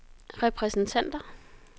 repræsentanter